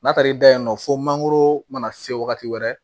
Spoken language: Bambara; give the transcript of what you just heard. N'a taara i da yen nɔ fo mangoro mana se wagati wɛrɛ